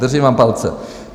Držím vám palce.